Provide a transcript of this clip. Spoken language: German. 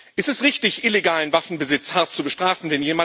Es ist richtig, illegalen Waffenbesitz hart zu bestrafen.